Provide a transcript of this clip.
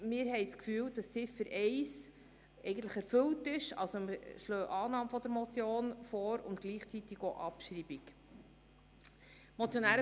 Wir haben das Gefühl, Ziffer 1 sei eigentlich erfüllt und schlagen Annahme und gleichzeitig auch Abschreibung der Motion vor.